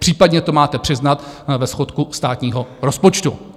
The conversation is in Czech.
Případně to máte přiznat ve schodku státního rozpočtu.